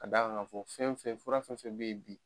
K'a d'a kan ka fɔ fɛn fɛn fura fɛn fɛn be ye bi